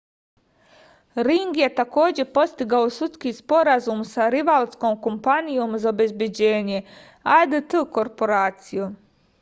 ring je takođe postigao sudski sporazum sa rivalskom kompanijom za obezbeđenje adt korporacijom